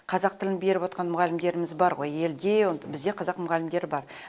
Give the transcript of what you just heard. қазақ тілін беріп отқан мұғалімдеріміз бар ғой елде бізде қазақ мұғалімдер бар